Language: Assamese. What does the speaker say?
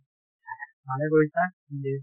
ভালে কৰিছা যিহে